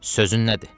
Sözün nədir?